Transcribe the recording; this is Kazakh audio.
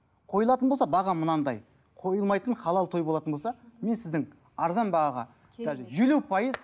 қойылатын болса бағам мынандай қойылмайтын халал той болатын болса мен сіздің арзан бағаға даже елу пайыз